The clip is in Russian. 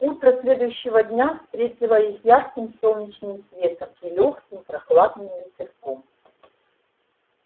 утро следующего дня встретило их ярким солнечным светом и лёгким прохладным ветерком